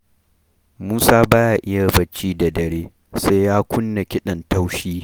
Musa ba ya iya bacci da dare sai ya kunna kiɗan taushi.